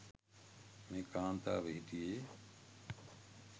මේ කාන්තාව හිටියේ.